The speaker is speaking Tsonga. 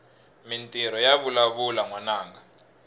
mintirho yavalavula nwananga